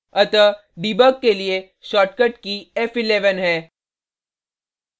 अतः debug के लिए shortcut की f11 है